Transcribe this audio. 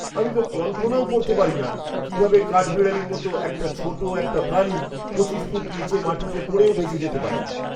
আমি তো কল্পনাও করতে পারি না কীভাবে কাঠবিড়ালির মতো এরকম ছোট একটা প্রাণী ২৫ ফুট নীচে মাটিতে পড়েও বেঁচে যেতে পারে। (ব্যক্তি ১)